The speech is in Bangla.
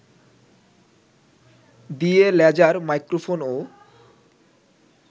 দিয়ে লেজার মাইক্রোফোনও